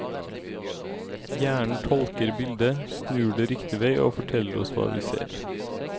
Hjernen tolker bildet, snur det riktig vei og forteller oss hva vi ser.